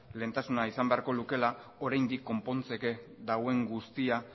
lehentasuna izan beharko lukeela oraindik konpontzeke dagoen guztia